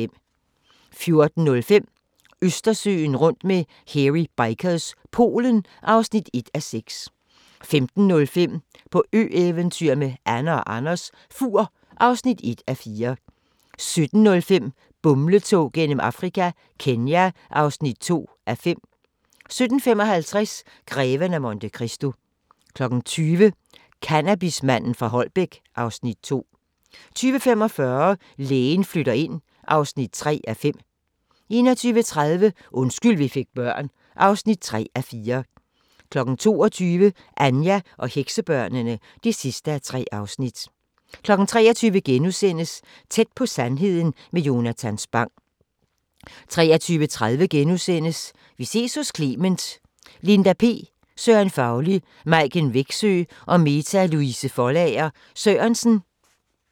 14:05: Østersøen rundt med Hairy Bikers – Polen (1:6) 15:05: På ø-eventyr med Anne & Anders - Fur (1:4) 17:05: Bumletog gennem Afrika – Kenya (2:5) 17:55: Greven af Monte Cristo 20:00: Cannabismanden fra Holbæk (Afs. 2) 20:45: Lægen flytter ind (3:5) 21:30: Undskyld vi fik børn (3:4) 22:00: Anja og heksebørnene (3:3) 23:00: Tæt på sandheden med Jonatan Spang * 23:30: Vi ses hos Clement: Linda P, Søren Fauli, Maiken Wexø og Meta Louise Foldager Sørensen *